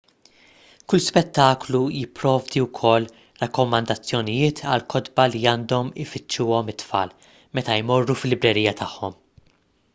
kull spettaklu jipprovdi wkoll rakkomandazzjonijiet għal kotba li għandhom ifittxuhom it-tfal meta jmorru fil-librerija tagħhom